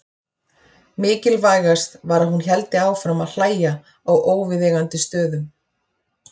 Mikilvægast var að hún héldi áfram að hlæja á óviðeigandi stöðum.